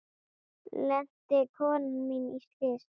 Lenti konan mín í slysi?